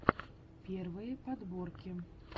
первые подборки